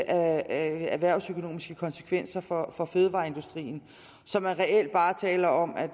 erhvervsøkonomiske konsekvenser for for fødevareindustrien så man reelt bare taler om at